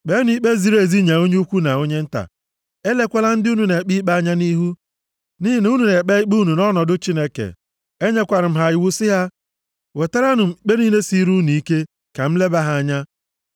Kpeenụ ikpe ziri ezi nye onye ukwu na onye nta. Elekwala ndị unu na-ekpe ikpe anya nʼihu, nʼihi na unu na-ekpe ikpe unu nʼọnọdụ Chineke.” Enyekwara m ha iwu sị ha wetaranụ m ikpe niile siri unu ike ka m leba ha anya.